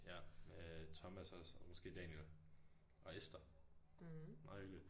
Ja øh Thomas også og måske Daniel og Esther. Meget hyggeligt